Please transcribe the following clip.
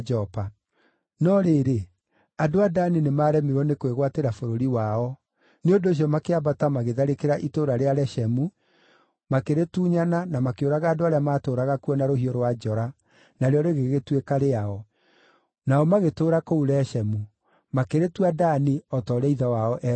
(No rĩrĩ, andũ a Dani nĩmaremirwo nĩ kwĩgwatĩra bũrũri wao; nĩ ũndũ ũcio makĩambata magĩtharĩkĩra itũũra rĩa Leshemu, makĩrĩtunyana na makĩũraga andũ arĩa maatũũraga kuo na rũhiũ rwa njora, narĩo rĩgĩgĩtuĩka rĩao. Nao magĩtũũra kũu Leshemu. Makĩrĩtua Dani o ta ũrĩa ithe wao eetagwo.)